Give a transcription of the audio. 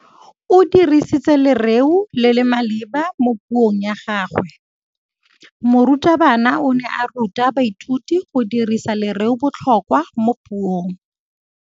O dirisitse lerêo le le maleba mo puông ya gagwe. Morutabana o ne a ruta baithuti go dirisa lêrêôbotlhôkwa mo puong.